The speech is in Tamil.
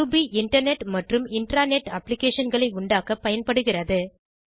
ரூபி இன்டர்நெட் மற்றும் intra நெட் applicationகளை உண்டாக்க பயன்படுகிறது